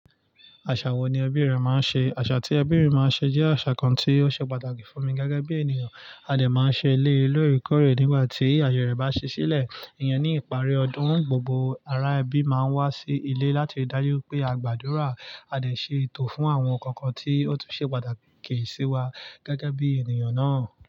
Àṣà wo ni ẹbí rẹ máa ń ṣe? Àṣà tí ẹbí mi máa ń ṣe jẹ́ àṣà kan tí ó ṣe pàtàkì fún mi gẹ́gẹ́ bí ènìyàn. A dè máa ń ṣe eléyi lóorekọ́rè nígbà tí àye rẹ̀ bá ṣi sílẹ̀. Iyen ní ìparí ọdún, gbogbo ará ẹbí máa ń wá sí ilé láti dájú pé a gbàdúrà, a dè ṣe ètò fún àwọn nǹkan kan tí ó tún ṣe pàtàkì sí wa gẹ́gẹ́ bí ènìyàn náà.